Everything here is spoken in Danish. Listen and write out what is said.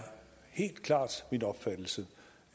sådan set